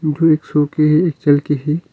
जो एक सो के है एक चल के है।